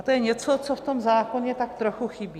A to je něco, co v tom zákoně tak trochu chybí.